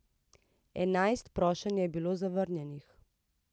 Enajst prošenj je bilo zavrnjenih.